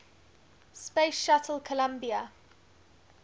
space shuttle columbia